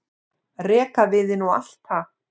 rekaviðinn og allt það.